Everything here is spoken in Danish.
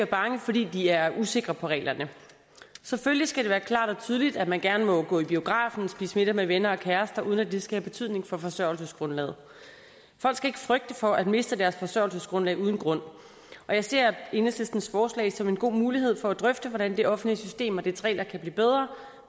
bange fordi de er usikre på reglerne selvfølgelig skal det være klart og tydeligt at man gerne må gå i biografen spise middag med venner og kærester uden at det skal have betydning for forsørgelsesgrundlaget folk skal ikke frygte for at miste deres forsørgelsesgrundlag uden grund og jeg ser enhedslistens forslag som en god mulighed for at drøfte hvordan det offentlige system og dets regler kan blive bedre